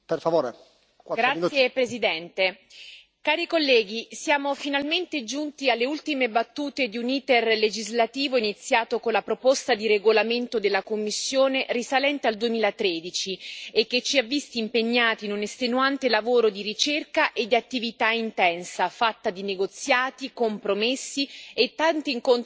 Signor Presidente, onorevoli colleghi, siamo finalmente giunti alle ultime battute di un iter legislativo iniziato con la proposta di regolamento della Commissione risalente al 2013 e che ci ha visti impegnati in un estenuante lavoro di ricerca e di attività intensa, fatta di negoziati, compromessi e tanti incontri di confronto.